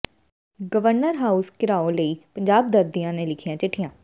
governor house ਘਿਰਾਓ ਲਈ ਪੰਜਾਬੀ ਦਰਦੀਆਂ ਨੇ ਲਿਖੀਆਂ ਚਿੱਠੀਆਂ